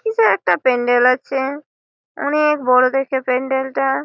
কিছু একটা প্যান্ডেল হরচে। অনকে বড়ো দেখে প্যান্ডেল তা।